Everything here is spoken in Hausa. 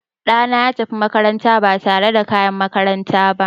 Ɗana ya tafi makaranta ba tare da kayan makaranta ba.